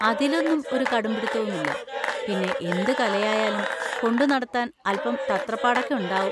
അതിലൊന്നും ഒരു കടുമ്പിടുത്തവുമില്ല. പിന്നെ, എന്തു കലയായാലും കൊണ്ടുനടത്താന്‍ അല്‍പം തത്രപ്പാടൊക്കെ ഉണ്ടാവും.